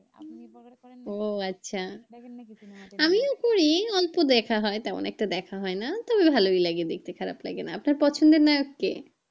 ও আচ্ছা আমিও একটু ই অল্প দেখা হয় তেমন একটা দেখা হয় না তবে ভালোই লাগে দেখতে খারাপ লাগে না আপনার পছন্দের নায়ক কে?